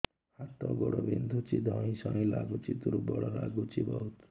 ହାତ ଗୋଡ ବିନ୍ଧୁଛି ଧଇଁସଇଁ ଲାଗୁଚି ଦୁର୍ବଳ ଲାଗୁଚି ବହୁତ